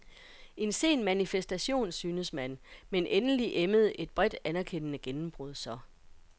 En sen manifestation synes man, men endelig emmede et bredt, anerkendende gennembrud så.